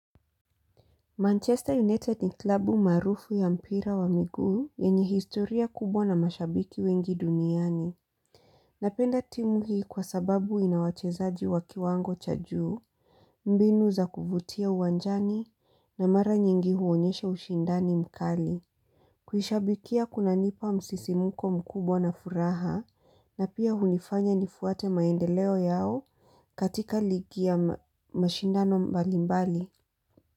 Manchester United ni klabu maarufu ya mpira wa migu yenye historia kubwa na mashabiki wengi duniani. Napenda timu hii kwa sababu ina wachezaji wa kiwango cha juu, mbinu za kuvutia uwanjani na mara nyingi huonyesha ushindani mkali. Kuishabikia kunanipa msisimuko mkubwa na furaha na pia hunifanya nifuate maendeleo yao katika ligi ya mashindano mbalimbali.